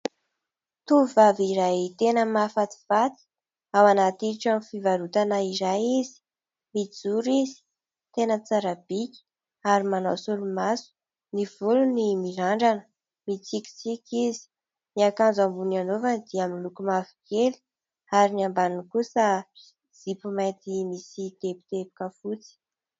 Tovovavy iray tena mahafatifaty ao anaty trano fivarotana iray izy, mijoro izy, tena tsara bika ary manao solomaso. Ny volony mirandrana, mitsikitsiky izy ny akanjo ambony anaovana dia miloko mavokely ary ny ambany kosa zipo mainty misy teboteboka fotsy.